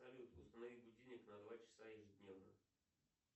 салют установи будильник на два часа ежедневно